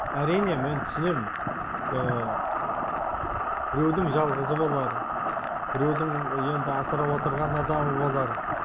әрине мен түсінем біреудің жалғызы болар біреудің енді асырап отырған адамы болар